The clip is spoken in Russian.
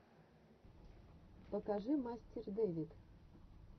покажи мастер дэвид